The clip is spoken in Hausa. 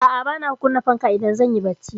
A'a, bana kunna fanka idan zan yi barci.